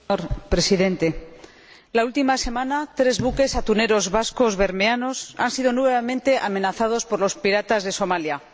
Señor Presidente, la última semana, tres buques atuneros vascos bermeanos han sido nuevamente amenazados por los piratas de Somalia.